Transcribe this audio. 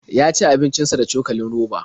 Ya ci abincin sa da cokalin roba.